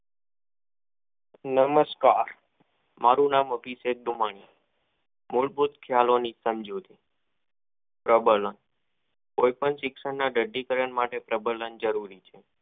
નમસ્કાર મારુ નામ અભિષેક ગમાનીમૂળ ભૂત ખ્યાલો ની સમજૂતી પરબના કોઈ પણ શિક્ષણ ના દઢ઼ી કરણ માટે પ્રબના જરૂરી છે.